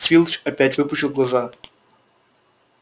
филч опять выпучил глаза